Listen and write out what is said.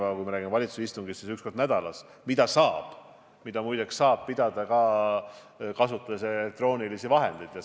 Aga kui räägime valitsuse istungist, siis see toimub üks kord nädalas, mida muide saab pidada ka elektrooniliste vahendite abil.